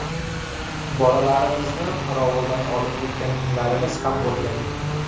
Bolalarimizni qorovuldan olib ketgan kunlarimiz ham bo‘lgan.